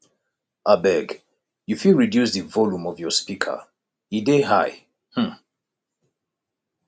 abeg you fit reduce di volume of your speaker e dey high um